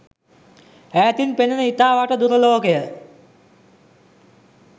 ඈතින් පෙනෙන ඉතා වට දුර ලෝකයේ